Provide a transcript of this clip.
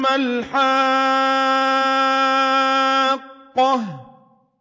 مَا الْحَاقَّةُ